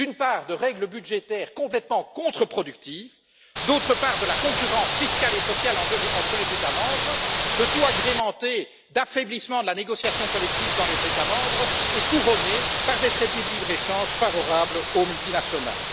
D'une part, des règles budgétaires complètement contre-productives et, d'autre part, de la concurrence fiscale et sociale entre les États membres, le tout agrémenté d'un affaiblissement de la négociation collective dans les États membres et couronné par des traités de libre échange favorables aux multinationales.